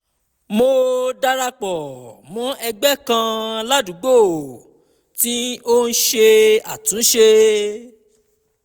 mo dara pọ̀ mọ́ ẹgbẹ́ kan ládùúgbò tí ó ń ṣe àtúnṣe